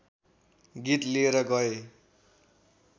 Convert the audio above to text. गीत लिएर गए